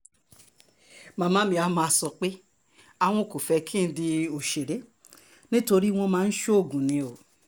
màmá mi á máa sọ pé àwọn kò fẹ́ kí n di òṣèré nítorí wọ́n máa ń ṣoògùn ni o